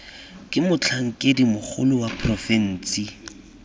ke motlhankedi mogolo wa porofensi